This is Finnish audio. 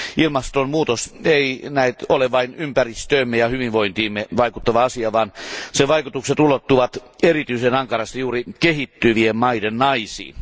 Ilmastonmuutos ei näet ole vain ympäristöömme ja hyvinvointiimme vaikuttava asia, vaan sen vaikutukset ulottuvat erityisen ankarasti juuri kehittyvien maiden naisiin.